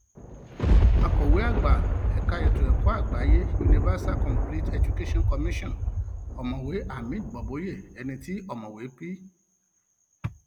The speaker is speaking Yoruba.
akọwé àgbà ẹka ètò ẹkọ àgbáyé universal complete education commission ọmọwé hamid boboyi ẹni tí ọmọwé p